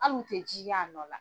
Halu tɛ jiya nɔ la.